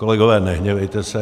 Kolegové, nehněvejte se.